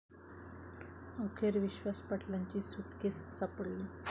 अखेर विश्वास पाटलांची सुटकेस सापडली